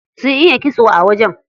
Sun iya kitso a wajen.